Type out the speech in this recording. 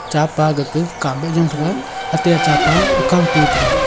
cha pa gaga kap ma tho ate achapa akao to taga.